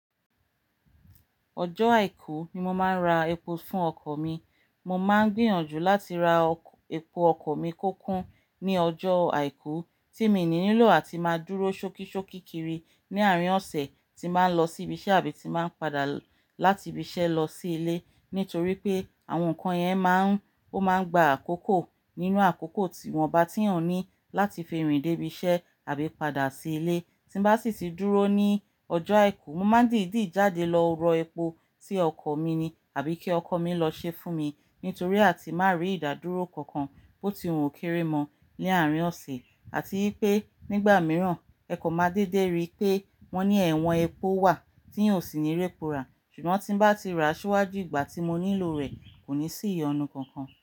Ọjọ́ Àìkú ni mo máa ń ra epo fún ọkọ̀ mi. Mo máa ń gbìyànjú láti ra ọkọ̀, epo ọkọ̀ mi kó kún ní ọjọ́ Àìkú tí miì ní nílò àti máa dúró ṣókíṣókí kiri ní àárín ọ̀sẹ̀ tí n bá ń lọ síbi iṣẹ́ àbí tí n bá ń padà láti ibi iṣẹ́ lọ sí ilé. Nítorí pé àwọn nǹkan yẹn máa ń, ó máa ń gba àkókò nínú àkókò tí ìwọ̀nba tíyàn ní láti fi rìn débi iṣẹ́ àbí padà sí ilé. Tí n bá sì ti dúró ní ọjọ́ Àìkú, mo máa ń dìídì jáde lọ rọ epo sí ọkọ̀ mi ni àbí kí ọkọ mi lọ ṣeé fún mi. Nítorí àti má rí ìdádúró kankan bó ti wù ó kéré mọ ní àárín ọ̀sẹ̀, àti wí pé nígbà mìíràn ẹ kàn máa dédé ri pé wọ́n ní ẹ̀wọ́n epo wà tíyàn ò sì ní répo rà. Ṣùgbọ́n tí n bá ti ràá ṣíwájú ìgbà tí mo nílò rẹ̀, kò ní sí ìyọnu kankan.